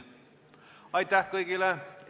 Aitäh kõigile!